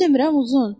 Düz demirəm, uzun?